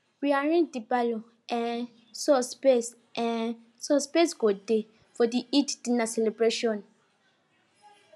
we arrange the parlor um so space um so space go dey for the eid dinner celebration